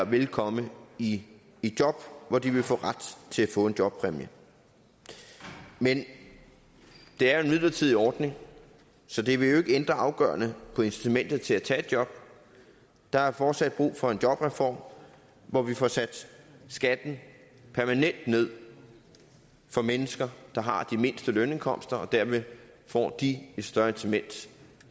vil komme i job hvor de vil få ret til at få en jobpræmie men det er en midlertidig ordning så det vil jo ikke ændre afgørende på incitamentet til at tage et job der er fortsat brug for en jobreform hvor vi får sat skatten permanent ned for mennesker der har de mindste lønindkomster og dermed får de et større incitament